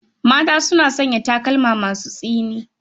Mata za suna sanya takalma masu tsini.